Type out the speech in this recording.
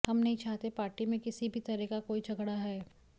हम नहीं चाहते पार्टी में किसी भी तरह का कोई झगड़ा है